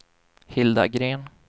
Hilda Gren